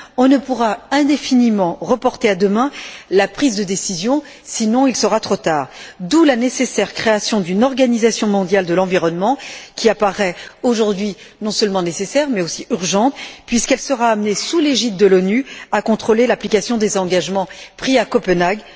On ne pourra indéfiniment reporter à demain la prise de décision, sinon il sera trop tard, d'où la nécessaire création d'une organisation mondiale de l'environnement qui apparaît aujourd'hui, non seulement nécessaire, mais aussi urgente, puisqu'elle sera amenée, sous l'égide de l'ONU, à contrôler l'application des engagements pris à Copenhague.